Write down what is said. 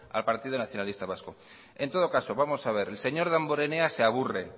al partido nacionalista vasco en todo caso vamos a ver el señor damborenea se aburre